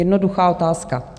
Jednoduchá otázka.